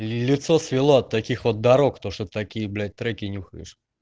лицо свело от таких вот дорог то что такие блять треки нюхаешь